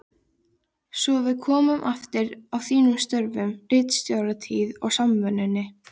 Svo við komum aftur að þínum störfum: ritstjóratíðinni á Samvinnunni.